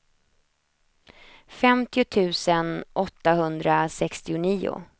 femtio tusen åttahundrasextionio